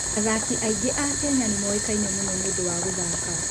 Athaki aingĩ a Kenya nĩ moĩkaine mũno nĩ ũndũ wa gũthako.